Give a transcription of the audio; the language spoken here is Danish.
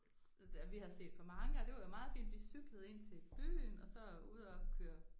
Vi har set på mange og det var jo meget fint vi cyklede ind til byen og så ud og køre